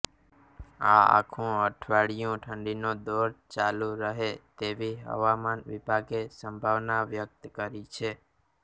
આ આખુ અઠવાડીયુ ઠંડીનો દોર ચાલુ રહે તેવી હવામાન વિભાગે સંભાવના વ્યકત કરી છે